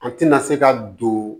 An tɛna se ka don